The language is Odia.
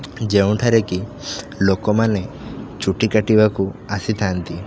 ଯେଉଁଠାରେ କି ଲୋକମାନେ ଚୁଟି କାଟିବାକୁ ଆସିଥାନ୍ତି।